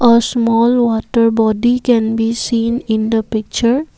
a small water body can be seen in the picture.